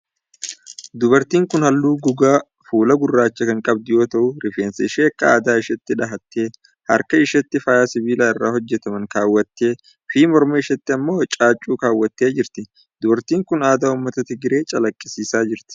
Dubartiin kun haalluu gogaa fuulaa gurraacha kan qabdu yoo ta'u, rifeensa ishee akka aadaa isheetti dhahattee, harka isheetti faaya sibiila irraa hojjataman kaawwattee fi morma isheetti immoo caaccuu kaawwattee jirti. Dubartiin kun, aadaa ummata Tigree calaqqisiisaa jirti.